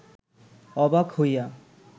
অবাক হইয়া